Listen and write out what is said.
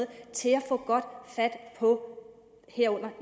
til at få godt fat på